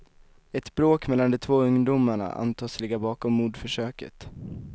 Ett bråk mellan de två ungdomarna antas ligga bakom mordförsöket.